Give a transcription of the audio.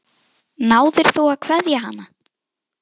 Náðir þú að kveðja hana?